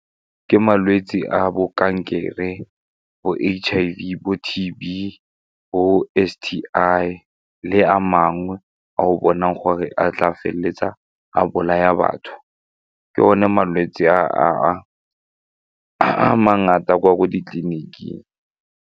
Ke malwetse a bo kankere, bo H_I_V, bo tT_B, bo S_T_I le a mangwe a o bonang gore a tla feleletsa a bolaya batho, ke one malwetse a a mangata kwa ko ditliliniking.